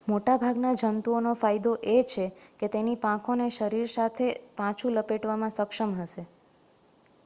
મોટાભાગના જંતુઓનો ફાયદો એ છે કે તેની પાંખોને શરીર સાથે પાછું લપેટવામાં સક્ષમ હશે